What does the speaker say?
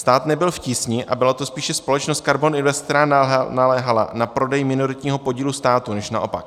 Stát nebyl v tísni a byla to spíše společnost KARBON INVEST, která naléhala na prodej minoritního podílu státu, než naopak.